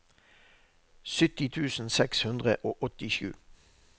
sytti tusen seks hundre og åttisju